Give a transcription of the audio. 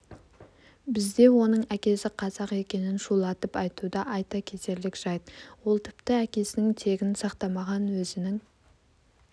бізде оның әкесі қазақ екенін шулатып айтуда айта кетерлік жайт ол тіпті әкесінің тегін сақтамаған өзінің